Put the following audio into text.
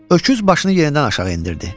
Öküz başını yenidən aşağı endirdi.